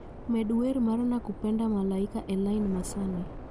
Med wer mar nakupenda malaika elain ma sani